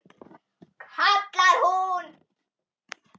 kallar hún.